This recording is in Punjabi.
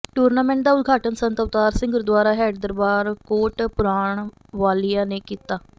ਟੂਰਨਾਮੈਂਟ ਦਾ ਉਦਘਾਟਨ ਸੰਤ ਅਵਤਾਰ ਸਿੰਘ ਗੁਰਦੁਆਰਾ ਹੈੱਡ ਦਰਬਾਰ ਕੋਟ ਪੁਰਾਣ ਵਾਲਿਆਂ ਨੇ ਕੀਤਾ